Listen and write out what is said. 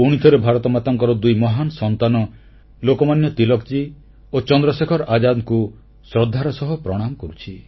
ପୁଣିଥରେ ଭାରତମାତାଙ୍କର ଦୁଇ ମହାନ ସନ୍ତାନ ଲୋକମାନ୍ୟ ତିଲକଜୀ ଓ ଚନ୍ଦ୍ରଶେଖର ଆଜାଦଙ୍କୁ ଶ୍ରଦ୍ଧାର ସହ ପ୍ରଣାମ କରୁଛି